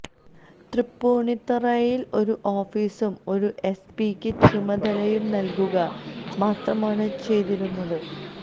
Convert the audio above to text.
തൃപ്പുണിത്തുറയില് ഒരു ഓഫീസും ഒരു എസ്പിക്ക് ചുമതലയും നല്കുക മാത്രമാണ് ചെയ്തിരുന്നത്